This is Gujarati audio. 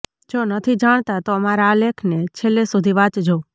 જો નથી જાણતા તો અમારા આ લેખને છેલ્લે સુધી વાંચજો